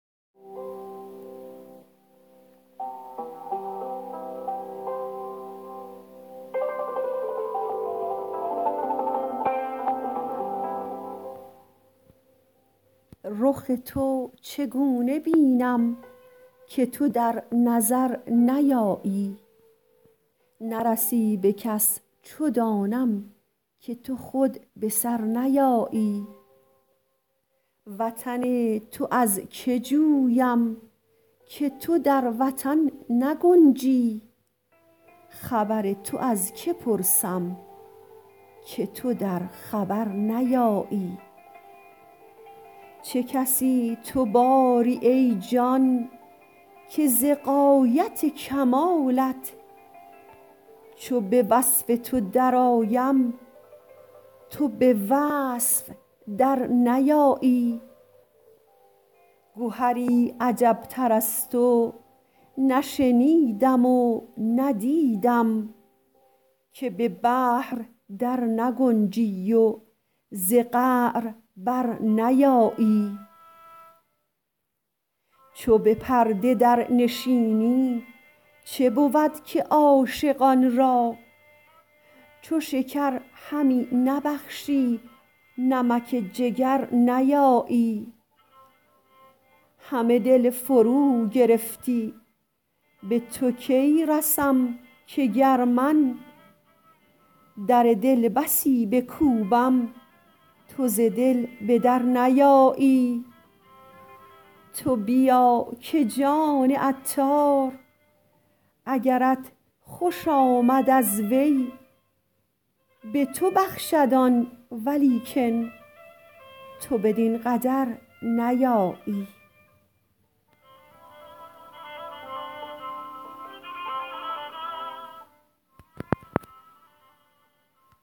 رخ تو چگونه بینم که تو در نظر نیایی نرسی به کس چو دانم که تو خود به سر نیایی وطن تو از که جویم که تو در وطن نگنجی خبر تو از که پرسم که تو در خبر نیایی چه کسی تو باری ای جان که ز غایت کمالت چو به وصف تو درآیم تو به وصف در نیایی گهری عجب تر از تو نشنیدم و ندیدیم که به بحر در نگنجی و ز قعر بر نیایی چو به پرده در نشینی چه بود که عاشقان را چو شکر همی نبخشی نمک جگر نیایی همه دل فرو گرفتی به تو کی رسم که گر من در دل بسی بکوبم تو ز دل به در نیایی تو بیا که جان عطار اگرت خوش آمد از وی به تو بخشد آن ولیکن تو بدین قدر نیایی